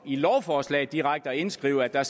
i lovforslaget direkte indskrives at der